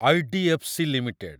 IDFC. Limited